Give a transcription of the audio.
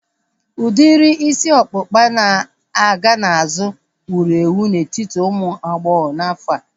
Udiri isi ọkpụkpa na-aga n'azụ wuru ewu n'etiti ụmụ agbọghọ n'afọa